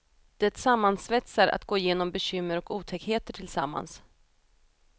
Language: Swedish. Det sammansvetsar att gå igenom bekymmer och otäckheter tillsammans.